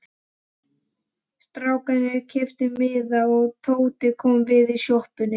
Strákarnir keyptu miða og Tóti kom við í sjoppunni.